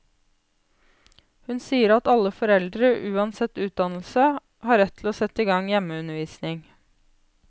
Hun sier at alle foreldre, uansett utdannelse, har rett til å sette i gang hjemmeundervisning.